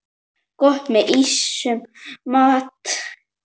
Gott með ýmsum mat.